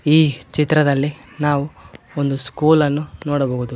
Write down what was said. ಈ ಚಿತ್ರದಲ್ಲಿ ನಾವು ಒಂದು ಸ್ಕೂಲ್ ಅನ್ನು ನೋಡಬಹುದು.